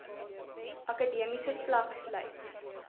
akademiese vlak sluit